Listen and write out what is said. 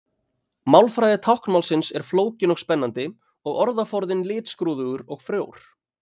Málfræði táknmálsins er flókin og spennandi og orðaforðinn litskrúðugur og frjór.